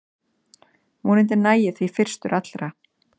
Vonandi næ ég því fyrstur allra